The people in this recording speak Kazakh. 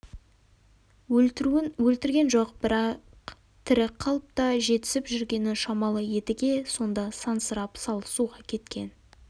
өлтіруін өлтірген жоқ бірақ тірі қалып та жетісіп жүргені шамалы едіге сонда сансырап салы суға кеткен